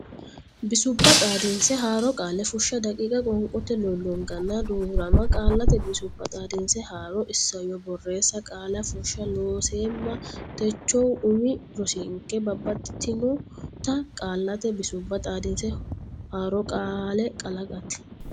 bisubba xaadinse haaro qaale fushsha daqiiqa Qoonqote lollonganna duu rama Qaallate Bisubba Xaadinse Haaro Isayyo borreessa Qaalla Fushsha Looseemma techohu umi rosinke babbaxitinota qaallate bisubba xaadinse haaro qaalla kalaqate.